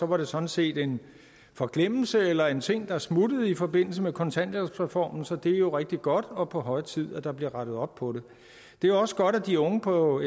det sådan set en forglemmelse eller en ting der smuttede i forbindelse med kontanthjælpsreformen så det er jo rigtig godt og på høje tid at der bliver rettet op på det det er også godt at de unge på